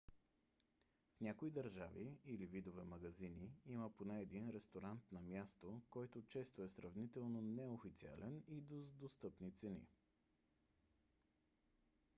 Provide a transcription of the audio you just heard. в някои държави или видове магазини има поне един ресторант на място който често е сравнително неофициален и с достъпни цени